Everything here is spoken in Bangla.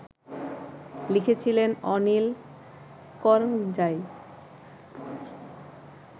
লিখেছিলেন অনিল করঞ্জাই